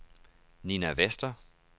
Nina Vester